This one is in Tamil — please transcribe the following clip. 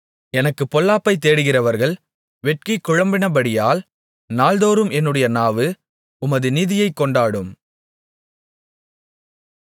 எனக்குப் பொல்லாப்பைத் தேடுகிறவர்கள் வெட்கி குழம்பினபடியால் நாள்தோறும் என்னுடைய நாவு உமது நீதியைக் கொண்டாடும்